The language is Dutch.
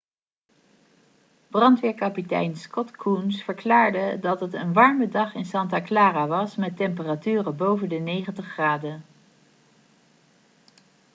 brandweerkapitein scott kouns verklaarde dat het een warme dag in santa clara was met temperaturen boven de 90 graden